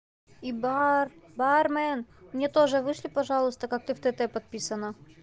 и бар бармен мне тоже вышли пожалуйста как ты в тт подписана